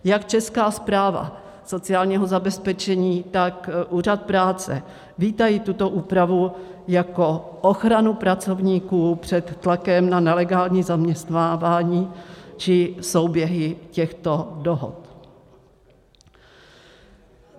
Jak Česká správa sociálního zabezpečení, tak úřad práce vítají tuto úpravu jako ochranu pracovníků před tlakem na nelegální zaměstnávání či souběhy těchto dohod.